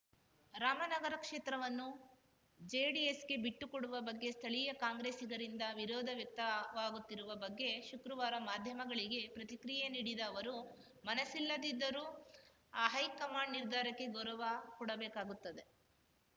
ರಾಮನಗರ ಕ್ಷೇತ್ರವನ್ನು ಜೆಡಿಎಸ್‌ಗೆ ಬಿಟ್ಟುಕೊಡುವ ಬಗ್ಗೆ ಸ್ಥಳೀಯ ಕಾಂಗ್ರೆಸ್ಸಿಗರಿಂದ ವಿರೋಧ ವ್ಯಕ್ತವಾಗುತ್ತಿರುವ ಬಗ್ಗೆ ಶುಕ್ರವಾರ ಮಾಧ್ಯಮಗಳಿಗೆ ಪ್ರತಿಕ್ರಿಯೆ ನೀಡಿದ ಅವರು ಮನಸ್ಸಿಲ್ಲದಿದ್ದರೂ ಹೈಕಮಾಂಡ್‌ ನಿರ್ಧಾರಕ್ಕೆ ಗೌರವ ಕೊಡಬೇಕಾಗುತ್ತದೆ